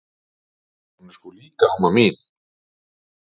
Hún er sko líka amma mín!